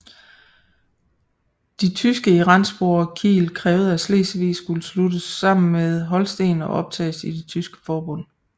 De tyske i Rendsborg og Kiel krævede at Slesvig skulle sluttes sammen med Holsten og optages i det Tyske Forbund